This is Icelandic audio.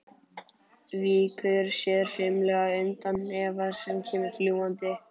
Víkur sér fimlega undan hnefa sem kemur fljúgandi.